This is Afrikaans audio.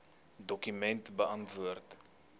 dokument beantwoord